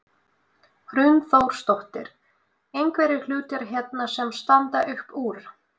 Hrund Þórsdóttir: Einhverjir hlutir hérna sem standa upp úr?